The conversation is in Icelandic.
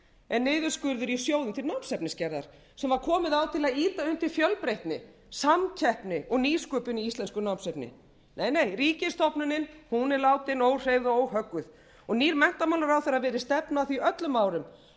er niðurskurður í sjóðum til námsefnisgerðar sem var komið á til að ýta undir fjölbreytni samkeppni og nýsköpun í íslensku námsefni nei nei ríkisstofnunin er látin óhreyfð og óhögguð og nýr menntamálaráðherra virðist stefna að því öllum árum að